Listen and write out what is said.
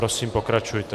Prosím, pokračujte.